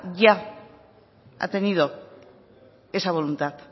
ya ha tenido esa voluntad